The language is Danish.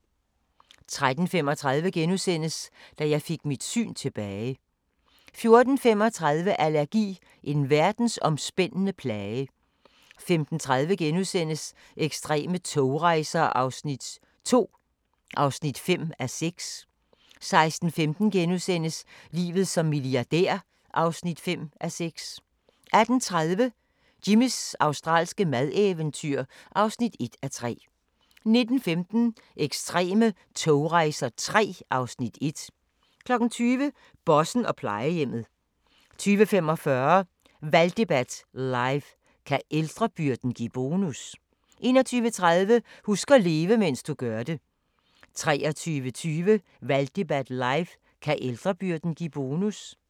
13:35: Da jeg fik mit syn tilbage * 14:35: Allergi – en verdensomspændende plage 15:30: Ekstreme togrejser II (5:6)* 16:15: Livet som milliardær (5:6)* 18:30: Jimmys australske madeventyr (1:3) 19:15: Ekstreme togrejser III (Afs. 1) 20:00: Bossen og plejehjemmet 20:45: Valgdebat live: Kan ældrebyrden give bonus? 21:30: Husk at leve, mens du gør det 23:20: Valgdebat live: Kan ældrebyrden give bonus?